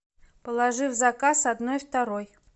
положи в заказ одной второй